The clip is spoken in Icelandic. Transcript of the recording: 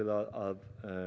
að